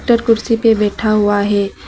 Doctor कुर्सी पे बैठा हुआ है।